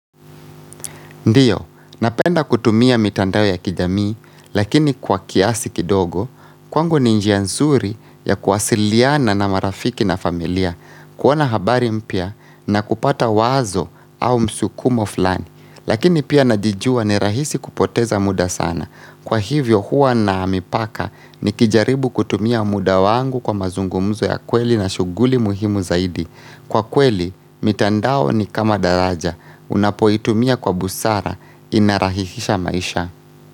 Ndiyo, napenda kutumia mitandao ya kijamii, lakini kwa kiasi kidogo, kwangu ni njia nzuri ya kuwasiliana na marafiki na familia, kuona habari mpya na kupata wazo au msukumo fulani. Lakini pia najijua ni rahisi kupoteza muda sana. Kwa hivyo huwa na mipaka nikijaribu kutumia muda wangu kwa mazungumzo ya kweli na shughuli muhimu zaidi. Kwa kweli, mitandao ni kama daraja, unapoitumia kwa busara, inarahisisha maisha.